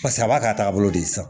Paseke a b'a ka taabolo de san